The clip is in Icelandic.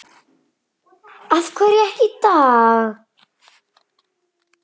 Af hverju ekki í dag?